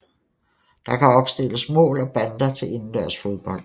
Der kan opstilles mål og bander til indendørs fodbold